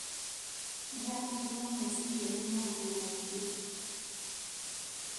Ndĩrathumbũrwo meciria nĩ maũndũmaingĩ